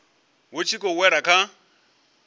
vhu tshi khou wela kha